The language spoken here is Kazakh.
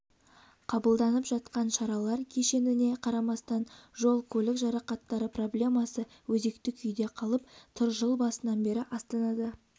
қабылданып жатқан шаралар кешеніне қарамастан жол-көлік жарақаттары проблемасы өзекті күйде қалып тыр жыл басынан бері астанада